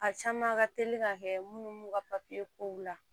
A caman ka teli ka kɛ munnu b'u ka papiye kow la